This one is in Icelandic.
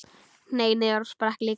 Hneig niður og sprakk líka.